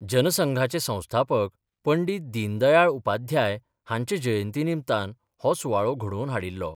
जनसंघाचे संस्थापक पंडीत दीनदयाळ उपाध्याय हांच्या जयंती निमतान, हो सुवाळो घडोवन हाडिल्लो.